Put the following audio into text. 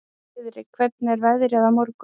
Friðrik, hvernig er veðrið á morgun?